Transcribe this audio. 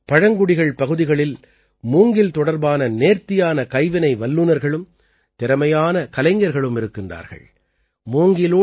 குறிப்பாக பழங்குடிகள் பகுதிகளில் மூங்கில் தொடர்பான நேர்த்தியான கைவினை வல்லுநர்களும் திறமையான கலைஞர்களும் இருக்கின்றார்கள்